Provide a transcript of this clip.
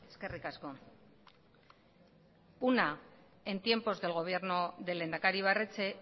eskerrik asko una en tiempos de gobierno del lehendakari ibarretxe